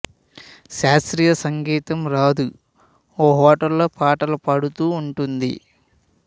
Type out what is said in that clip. శాస్త్రీయ సంగీతం రాదు ఓ హోటల్లో పాటలు పాడుతూ ఉంటుంది